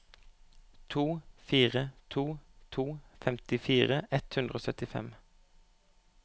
to fire to to femtifire ett hundre og syttifem